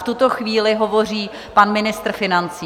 V tuto chvíli hovoří pan ministr financí.